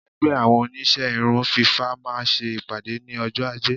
Ẹgbẹ́ àwọn Oníṣẹ́ irun fífá máa ń ṣe ìpàdé ní ọjọ́ ajé.